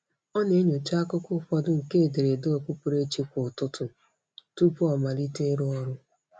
Ọ na-enyocha akụkụ ụfọdụ nke ederede okpukperechi kwa ụtụtụ tụpụ ọ amalite ịrụ ọrụ.